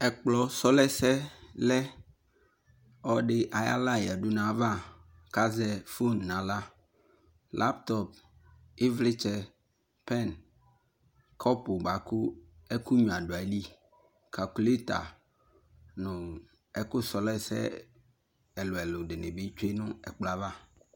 Ɛkplɔ sulɔɛsɛ lɛ, Ɔde ayala yadu no ava ko azɛ fon no ala Laptlp, evletsɛ, pɛn, kɔpu boako ɛkunyua do ayili Kakuleta no ɛku slɔɛsɛ ɛluɛlu de ne be tsue no ɛkplɔɛ ava